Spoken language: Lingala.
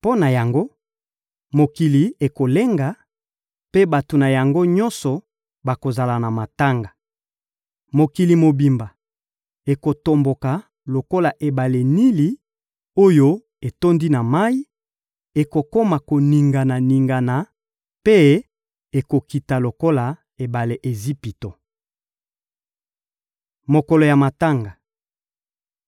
Mpo na yango, mokili ekolenga, mpe bato na yango nyonso bakozala na matanga. Mokili mobimba ekotomboka lokola ebale Nili oyo etondi na mayi; ekokoma koningana-ningana mpe ekokita lokola ebale ya Ejipito. Mokolo ya matanga